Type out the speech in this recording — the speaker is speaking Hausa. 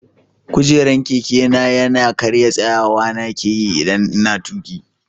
Kujeran Keke na ya karya, tsayawa na ke yi idan n'na tuki.